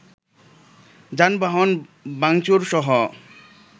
যানবাহন ভাংচুর-সহ